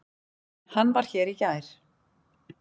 En hann var hér í gær.